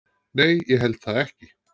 Nei, ég held það ekki.